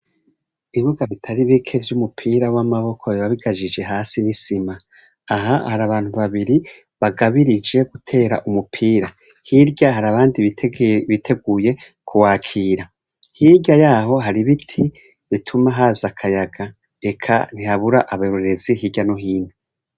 Ibibuga bitari bike vy'umupira w'amaboko biba bikajije hasi n'isima, aha hari abantu babiri bagabirije gutera umupira, hirya hari abandi biteguye kuwakira, hirya yaho hari ibiti bituma haza akayaga eka ntihabura abarorerezi hirya no hino.